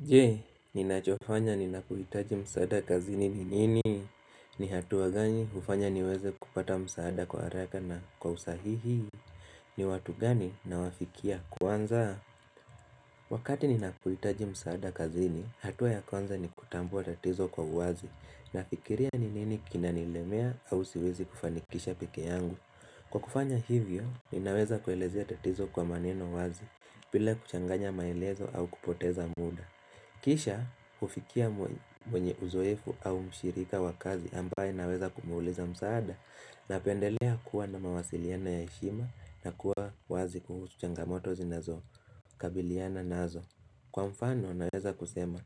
Je, ninachofanya ninapohitaji msaada kazini ni nini? Ni hatua gani hufanya niweze kupata msaada kwa haraka na kwa usahihi? Ni watu gani nawafikia kwanza? Wakati ninapohitaji msaada kazini, hatua ya kwanza ni kutambua tatizo kwa uwazi. Nafikiria ni nini kinanilemea au siwezi kufanikisha peke yangu. Kwa kufanya hivyo, ninaweza kuelezea tatizo kwa maneno wazi. Bila kuchanganya maelezo au kupoteza muda. Kisha hufikia mwenye uzoefu au mshirika wa kazi ambaye ninaweza kumwuliza msaada napendelea kuwa na mawasiliano ya heshima na kuwa wazi kuhusu changamoto zinazo kabiliana nazo Kwa mfano naweza kusema